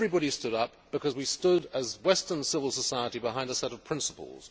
Everybody stood up, because we stood as Western civil society behind a set of principles.